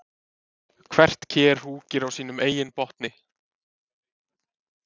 Hvert ker húkir á sínum eigin botni.